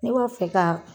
Ne b'a fɛ ka